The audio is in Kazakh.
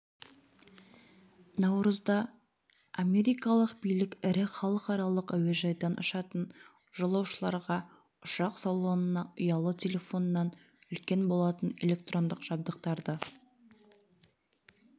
наурызда америкалық билік ірі халықаралық әуежайдан ұшатын жолаушыларға ұшақ салонына ұялы телефоннан үлкен болатын электрондық жабдықтарды